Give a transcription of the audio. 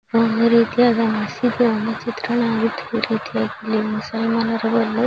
ಒಂದು ರೀತಿಯಾದ ಮಸೀದಿ ಒಂದು ಚಿತ್ರಣವಾಗಿದ್ದು ಒಂದು ರೀತಿಯಾಗಿ ಇಲ್ಲಿ ಮುಸ್ಲಮಾನರು ಬಂದು --